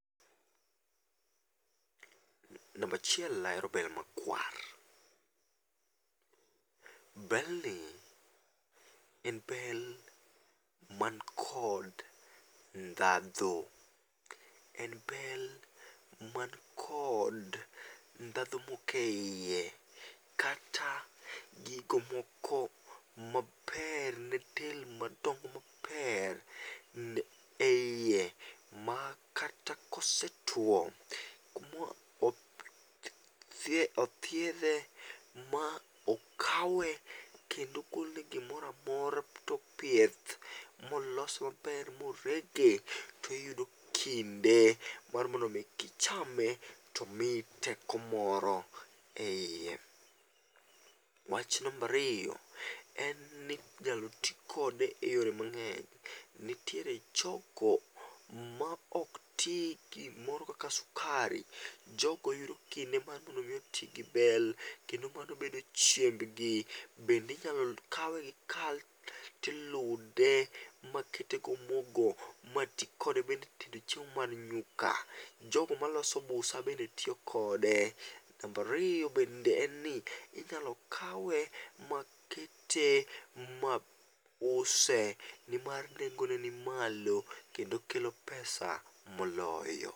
Namba achiel ahero bel makwar. Bel ni en bel man kod ndhadhu, en bel man kod ndhadhu moke iye kata gigo moko maber ne del madongo maber ne eiye ma kata kosetwo. Kumo othiedhe ma okawe kendo ogole gimoramora topieth molos ber morege tiyudo kinde mar mondo mi kichame to miyi teko moro. Wach namba ariyo en ni inyalo tii kode e yore mang'eny nitiere choko ma ok tii gimoro kaka sukari jogo yudo kinde mar mondo mi otii gi bel kendo mano bedo chiembgi bende inyalo kawgi kaeto ilude ma tii kode e tedo chiemo mar nyuoka ,jogo maloso busa bende tiyo kode. Namba ariyo bende inyalo kawe makete mause e nengo ne nimalo kendo kelo pesa moloyo.